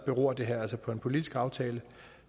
beror det her altså på en politisk aftale